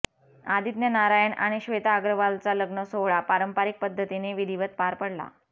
आदित्य नारायण आणि श्वेता अग्रवालचा लग्नसोहळा पारंपरिक पद्धतीने विधीवत पार पडला